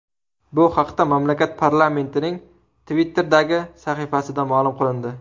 Bu haqda mamlakat parlamentining Twitter’dagi sahifasida ma’lum qilindi .